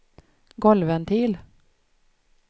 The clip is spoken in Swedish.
golvventil